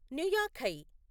నుయాఖై